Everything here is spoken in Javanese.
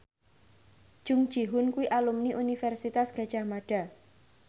Jung Ji Hoon kuwi alumni Universitas Gadjah Mada